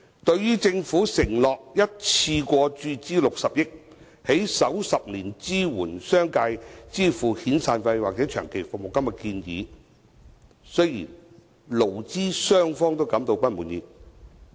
對於政府承諾一次過注資60億元，在首10年支援商界支付遣散費或長期服務金的建議，勞資雙方均感到不滿意。